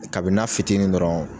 Kabini n'a fitini dɔrɔn